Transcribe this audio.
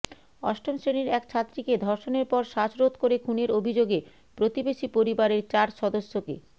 অষ্টম শ্রেণির এক ছাত্রীকে ধর্ষণের পর শ্বাসরোধ করে খুনের অভিযোগে প্রতিবেশী পরিবারের চার সদস্যকে